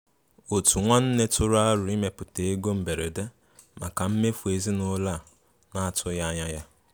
Òtù nwanne tụrụ àrò ịmèpụta égò mbèrédè maka mmèfù ezinúlọ̀ a na-atùghị anya ya.